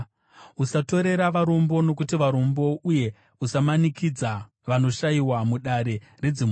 Usatorera varombo nokuti varombo, uye usamanikidza vanoshayiwa mudare redzimhosva,